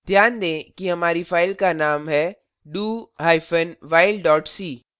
ध्यान दें कि हमारी फ़ाइल का name है dowhile c do hyphen while dot c